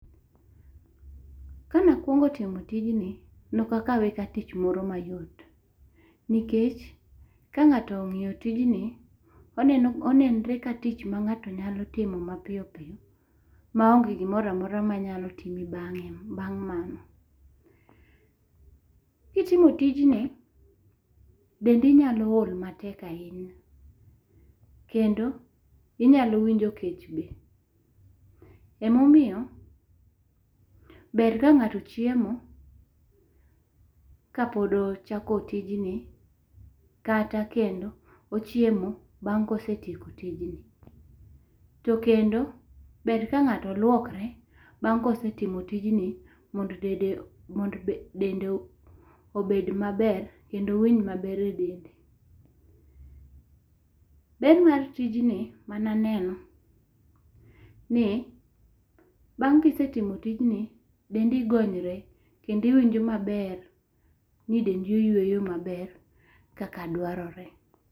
Kana akuongo timo tij ne ok akawe ka tich moro ma yot, nikech ka ng'ato ong'iyo tij ni, onenre ka tich ma ng'ato nyalo timo ma piyo piyo maonge gi moro amora ma nyalo timi bang'e bang' ma .Ki itimo tijni be inya ool matek ahinya kendo inyalo winjo kech be .Ema omiyo ber ka ng'ato chiemo ka pod ochako tijni kata kendo ochiemo bang' ka osetiemo tijni, kendo ber ka ng'ato luokre bang' ka osetimo tijni mondo dende obed ma ber kendo owinj ma ber e dende. Ber mar tijno ma ne aneno ni bang' ki isetimo tijni dendi gonyre kendo iwinjo ma ber ni dendi oyweyo ma ber kaka dwarore.